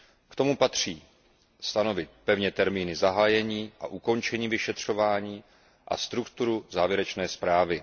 K tomu patří stanovit pevně termíny zahájení a ukončení vyšetřování a strukturu závěrečné zprávy.